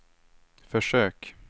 försök